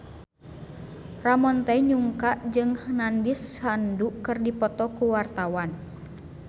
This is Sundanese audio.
Ramon T. Yungka jeung Nandish Sandhu keur dipoto ku wartawan